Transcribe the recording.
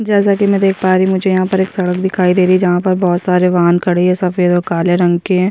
जैसा की मैं देख पा रही हूँ मुझे यहाँ पर एक सड़क दिखाई दे रही है जहा पर बहुत सारे वाहन खड़े है सफ़ेद और काले रंग के --